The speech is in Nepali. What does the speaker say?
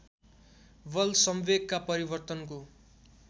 बल संवेगका परिवर्तनको